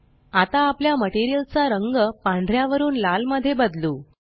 आता आपल्या मटेरियल चा रंग पांढऱ्या वरून लाल मध्ये बदलू